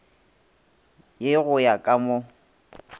ye go ya ka mo